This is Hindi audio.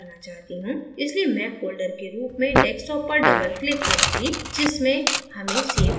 इसलिये मैं folder के रूप में desktop पर double click करूँगी जिसमें हमें so करना है